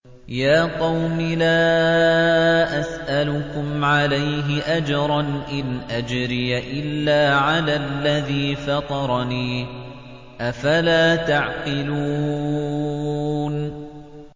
يَا قَوْمِ لَا أَسْأَلُكُمْ عَلَيْهِ أَجْرًا ۖ إِنْ أَجْرِيَ إِلَّا عَلَى الَّذِي فَطَرَنِي ۚ أَفَلَا تَعْقِلُونَ